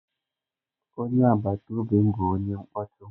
Onye agbata obi m bụ onye mkpọtụ.